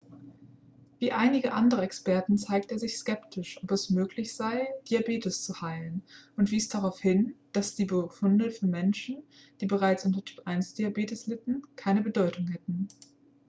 wie einige andere experten zeigte er sich skeptisch ob es möglich sei diabetes zu heilen und wies darauf hin dass die befunde für menschen die bereits unter typ-1-diabetes litten keine bedeutung hätten